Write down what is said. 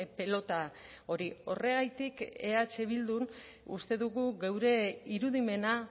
pilota hori horregatik eh bildun uste dugu geure irudimena